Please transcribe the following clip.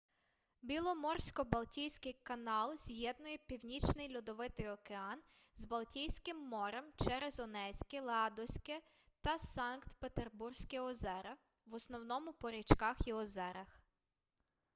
біломорсько-балтійський каналз'єднує північний льодовитий океан з балтійським морем через онезьке ладозьке та санкт-петербурзьке озера в основному по річках і озерах